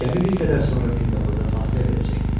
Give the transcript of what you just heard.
Gəmi bir qədər sonra Sinqapurda fasilə verəcəkdi.